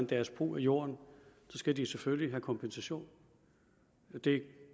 deres brug af jorden skal de selvfølgelig have kompensation det